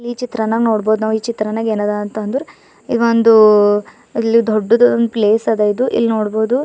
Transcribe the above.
ಈ ಚಿತ್ರನಾಗ್ ನೋಡ್ಬಹುದು ನಾವು ಈ ಚಿತ್ರನಾಗ್ ಏನದಂತಂದ್ರೆ ಈ ಒಂದು ಅಲ್ಲಿ ದೊಡ್ಡದು ಒಂದ್ ಪ್ಲೇಸ್ ಅದ ಇಲ್ನೋಡ್ಬಹುದು.